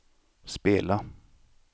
spela